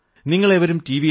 നിങ്ങളേവരും T